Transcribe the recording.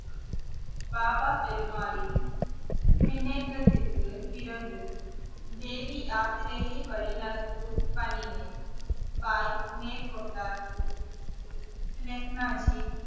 பாபா ஃபெரு மாலின் முன்னேற்றத்திற்கு பிறகு தேவி யாத்திரையை வழிநடத்தும் பணியை பாய் மேற்கொண்டார் லெஹனாஜி